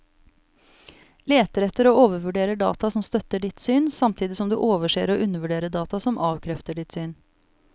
Leter etter og overvurderer data som støtter ditt syn, samtidig som du overser og undervurderer data som avkrefter ditt syn.